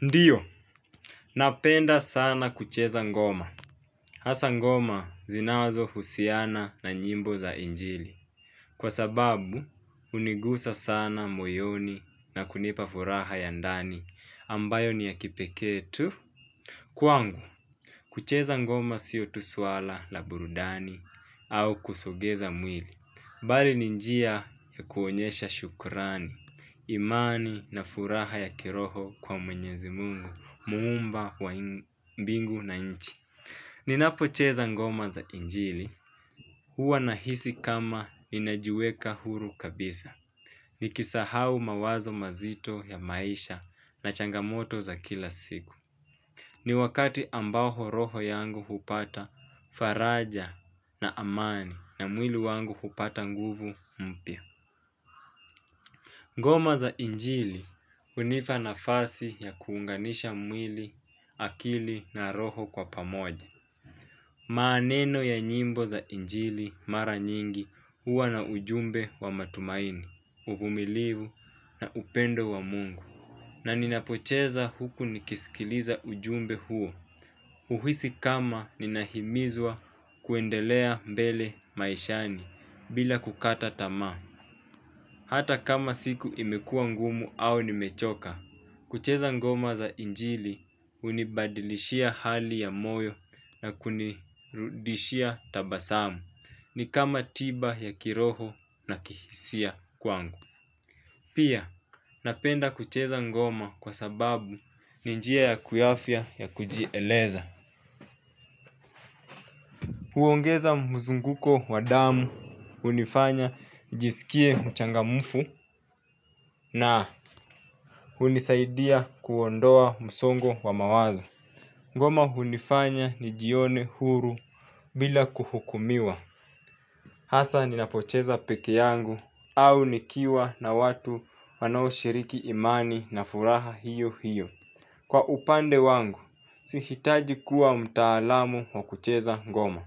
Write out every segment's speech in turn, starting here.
Ndiyo, napenda sana kucheza ngoma. Hasa ngoma zinawazo husiana na nyimbo za injili. Kwa sababu, unigusa sana moyoni na kunipa furaha ya ndani ambayo ni ya kipeketu. Kuangu, kucheza ngoma siyo tuswala la burudani au kusogeza mwili bali ninjia ya kuonyesha shukurani imani na furaha ya kiroho kwa mwenyezi mungu Muumba wa mbingu na nchi. Ni napocheza ngoma za injili. Huwa na hisi kama inajueka huru kabisa nikisahau mawazo mazito ya maisha na changamoto za kila siku. Ni wakati ambaho roho yangu hupata faraja na amani na mwili wangu hupata nguvu mpia. Ngoma za injili unipa nafasi ya kuunganisha mwili, akili na roho kwa pamoja. Maneno ya nyimbo za injili mara nyingi uwa na ujumbe wa matumaini, uvumilivu na upendo wa mungu. Na ninapocheza huku nikisikiliza ujumbe huo. Uhisi kama ninahimizwa kuendelea mbele maishani bila kukata tama. Hata kama siku imekua ngumu au nimechoka, kucheza ngoma za injili unibadilishia hali ya moyo na kunirudishia tabasamu. Ni kama tiba ya kiroho na kihisia kwangu. Pia, napenda kucheza ngoma kwa sababu ninjia ya kuyafia ya kuji eleza. Huongeza muzunguko wa damu, unifanya nijisikie mchangamufu na unisaidia. Kuondoa msongo wa mawazo. Ngoma hunifanya ni jione huru bila kuhukumiwa. Hasa ni napocheza peke yangu au nikiwa na watu wanao shiriki imani na furaha hiyo hiyo. Kwa upande wangu, si hitaji kuwa mtaalamu wa kucheza ngoma.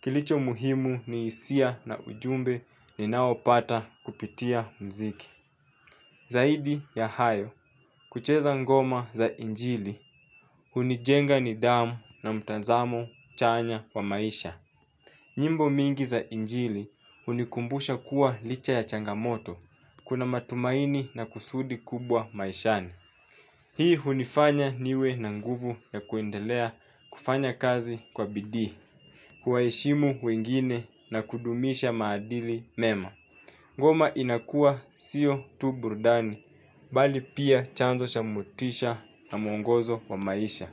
Kilicho muhimu ni isia na ujumbe ni naopata kupitia mziki. Zaidi ya hayo, kucheza ngoma za injili, unijenga ni damu na mtanzamo chanya wa maisha. Nyimbo mingi za injili, unikumbusha kuwa licha ya changamoto, kuna matumaini na kusudi kubwa maishani. Hii unifanya niwe na nguvu ya kuendelea kufanya kazi kwa bidihi, kuwaishimu wengine na kudumisha maadili mema. Ngoma inakua siyo tu burdani, bali pia chanzo cha motisha na muongozo wa maisha.